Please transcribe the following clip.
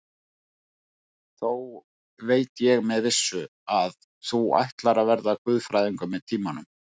Þó veit ég með vissu, að þú ætlar að verða guðfræðingur með tímanum.